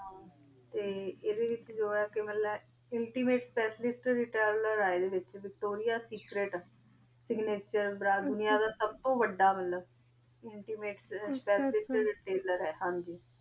ਤਾ ਅੰਦਾ ਵਿਤਚ ਜਰਾ ਆ ਏਕ੍ਸ੍ਤੀਮਾਤੇ ਸ੍ਪੇਕਿਆਲ ਡੋਲਰ ਯਾ ਨਾ ਜੋ ਯਾ ਸੇਕ੍ਰੇਟ vectore ਦੁਨਿਯਾ ਦਾ ਸੁਬ ਤੋ ਵਾਦਾ ਮਤਲਬ ਸੁਬ ਤੋ ਵਾਦਾ ਟੈਲਰ ਆ